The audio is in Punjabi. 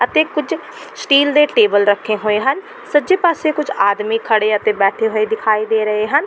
ਅਤੇ ਕੁੱਝ ਸਟੀਲ ਦੇ ਟੇਬਲ ਰੱਖੇ ਹੋਏ ਹਨ ਸੱਜੇ ਪਾਸੇ ਕੁੱਝ ਆਦਮੀ ਖੜ੍ਹੇ ਅਤੇ ਬੈਠੇ ਹੋਏ ਦਿਖਾਈ ਦੇ ਰਹੇ ਹਨ।